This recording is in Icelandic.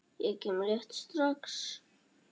Ég kem rétt strax.